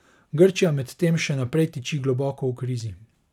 Grčija medtem še naprej tiči globoko v krizi.